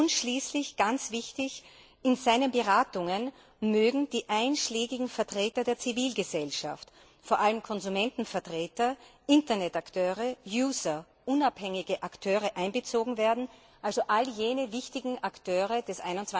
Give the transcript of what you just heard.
Und schließlich, ganz wichtig In seinen Beratungen mögen die einschlägigen Vertreter der Zivilgesellschaft, vor allem Konsumentenvertreter, Internetakteure, User, unabhängige Akteure einbezogen werden, also alle wichtigen Akteure des